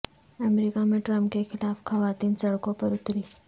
امریکہ میں ٹرمپ کے خلاف خواتین سڑکوں پر اتریں